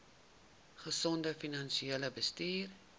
gesonde finansiële bestuur